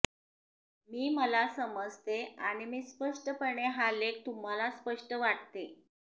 मी मला समजते आणि मी स्पष्टपणे हा लेख तुम्हाला स्पष्ट वाटते